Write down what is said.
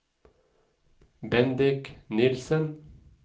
Bendik Nilsen